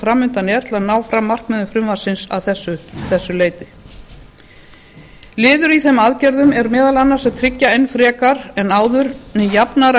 fram undan er til að ná fram markmiðum frumvarpsins að þessu leyti liður í þeim aðgerðum er meðal annars að tryggja enn frekar en áður jafnara